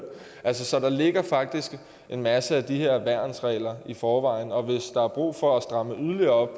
så der ligger faktisk en masse af de her værnsregler i forvejen og hvis der er brug for at stramme yderligere op